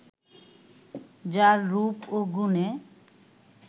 যার রূপ ও গুণে